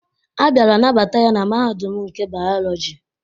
A bịara nabata ya na Mahadum nke Bayọlọji.